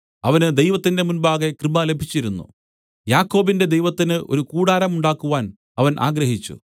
അവന് ദൈവത്തിന്റെ മുമ്പാകെ കൃപ ലഭിച്ചിരുന്നു യാക്കോബിന്റെ ദൈവത്തിന് ഒരു കൂടാരം ഉണ്ടാക്കുവാൻ അവൻ ആഗ്രഹിച്ചു